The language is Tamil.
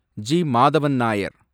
ஜி. மாதவன் நாயர்